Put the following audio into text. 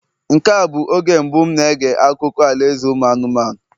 Nke a bụ oge mbụ m na-ege akụkọ alaeze ụmụ anụmanụ